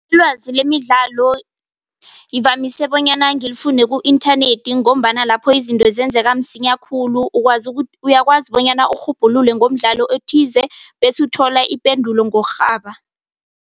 Ilwazi lemidlalo ngivamise bonyana ngilifune ku-inthanethi ngombana lapho izinto zenzeka msinya khulu uyakwazi bonyana urhubhulule ngomdlalo ethize bese uthola ipendulo ngokurhaba.